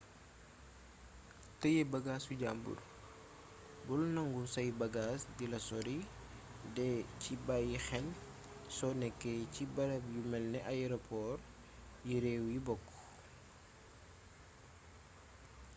tëye bagaasu jàmbur bul nagu say bagaas dila sori dee ci bàyyi xel soo nekkee ci barab yu melni aeopor yi réew yi bokk